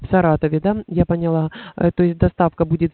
в саратове да я поняла то есть доставка будет